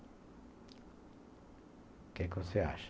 O que é que você acha?